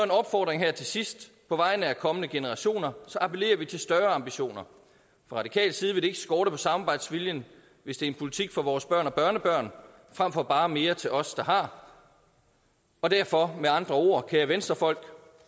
en opfordring her til sidst på vegne af kommende generationer appellerer vi til større ambitioner fra radikal side vil det ikke skorte på samarbejdsviljen hvis det er en politik for vores børn og børnebørn frem for bare mere til os der har derfor med andre ord kære venstrefolk